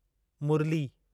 Murli